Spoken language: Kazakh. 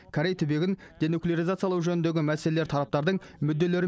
корей түбегін денуклеаризациялау жөніндегі мәселелер тараптардың мүдделері